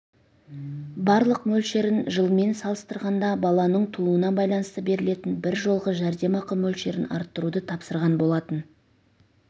барлық мөлшерін жылмен салыстырғанда баланың тууына байланысты берілетін бір жолғы жәрдемақы мөлшерін арттыруды тапсырған болатын